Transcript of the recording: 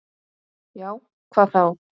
Já, hvað þá?